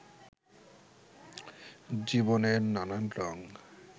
জীবনের নানান রঙ